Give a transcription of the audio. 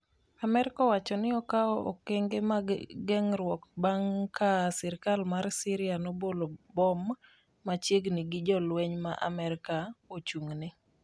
Amerka owacho ni okawo okenge mag geng'ruok bang' ka sirkal mar Syria nobolo bom machiegni gi jolweny ma Amerka ochung'ne.